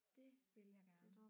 Det ville jeg gerne